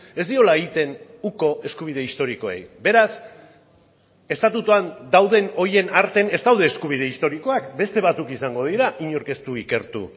ez diola egiten uko eskubide historikoei beraz estatutuan dauden horien artean ez daude eskubide historikoak beste batzuk izango dira inork ez du ikertu